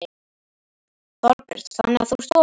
Þorbjörn: Þannig að þú ert opinn?